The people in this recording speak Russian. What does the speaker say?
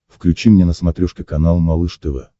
включи мне на смотрешке канал малыш тв